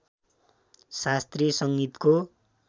शास्त्रीय सङ्गीतको